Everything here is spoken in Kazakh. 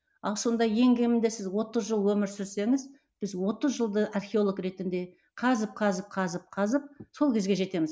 ал сонда ең кемінде сіз отыз жыл өмір сүрсеңіз біз отыз жылды археолог ретінде қазып қазып қазып қазып сол кезге жетеміз